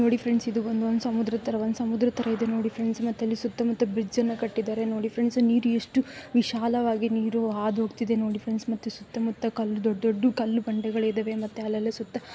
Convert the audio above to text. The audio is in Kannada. ನೋಡಿ ಫ್ರೆಂಡ್ಸ್ ಇದು ಒಂದು ಸಮುದ್ರದ ತರ. ಒಂದು ಸಮುದ್ರದ ತರ ಇದೆ ನೋಡಿ ಫ್ರೆಂಡ್ಸ್ ಮತ್ತೆ ಇಲ್ಲಿ ಸುತ್ತಮುತ್ತ ಬ್ರಿಡ್ಜ್ ಅನ್ನ ಕಟ್ಟಿದ್ದಾರೆ ನೋಡಿ ಫ್ರೆಂಡ್ಸ್ . ನೀರು ಎಷ್ಟು ವಿಶಾಲವಾಗಿ ನೀರು ಹಾದು ಹೋಗ್ತಿದೆ ನೋಡಿ ಫ್ರೆಂಡ್ಸ್ ಮತ್ತೆ ಸುತ್ತಮುತ್ತ ಕಲ್ಲುಗಳು ದೊಡ್ಡ ದೊಡ್ಡ ಕಲ್ಲುಬಂಡೆಗಳಿವೆ ಅಲ್ಲೆಲ್ಲ ಸುತ್ತ --